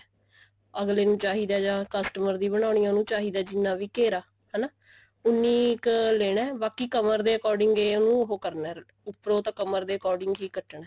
ਅਗਲੇ ਨੂੰ ਚਾਹੀਦਾ ਜਾਂ customer ਦੀ ਬਣਾਉਣੀ ਹੈ ਉਹਨੂੰ ਚਾਹੀਦਾ ਜਿੰਨਾ ਵੀ ਘੇਰਾ ਉੰਨੀ ਕ ਲੈਣਾ ਬਾਕੀ ਕਮਰ ਦੇ according ਇਹਨੂੰ ਉਹ ਕਰਨਾ ਉੱਪਰੋ ਤਾਂ ਕਮਰ ਦੇ according ਹੀ ਕੱਟਣਾ